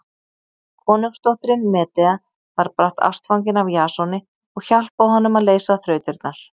Konungsdóttirin Medea varð brátt ástfangin af Jasoni og hjálpaði honum að leysa þrautirnar.